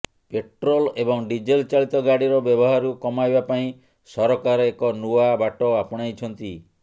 petrol ଏବଂ diesel ଚାଳିତ ଗାଡ଼ିର ବ୍ୟବହାରକୁ କମାଇବା ପାଇଁ ସରକାର ଏକ ନୂଆ ବାଟ ଆପଣାଇଛନ୍ତି